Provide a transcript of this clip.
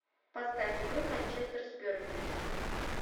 поставь игру манчестер с бернли